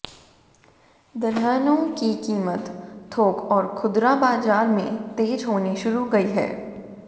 दलहनों की कीमत थोक और खुदरा बाजार में तेज होनी शुरू गई है